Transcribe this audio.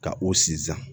Ka o sinzan